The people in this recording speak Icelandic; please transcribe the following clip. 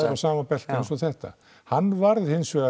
sama belti eins og þetta hann varð